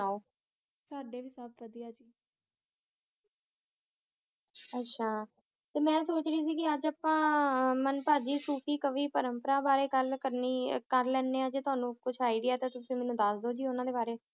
ਆਹ ਮੈਂ ਸੋਚ ਰਹੀ ਕ ਅਜੇ ਅਪਾ ਮੰਪਾਜੀ ਸੁਤੀ ਕਵੀ ਪਾਰੁਮ੍ਪਾਰਾ ਬਰੀ ਗਲ ਕਰਨੀ ਕੇਰ ਲੇਨੀ ਆ ਤਾਵਾਨੁ ਕੁਛ idea ਤੁਸੀਂ ਮੇਨੂ ਦਸ ਦੇ ਓ ਓਨਾ ਬਰੀ ਜੀ ਓਨਾ ਬਰੀ